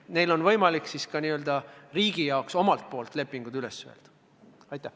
Neil on võimalik omalt poolt ka n-ö riigi jaoks lepingud üles öelda.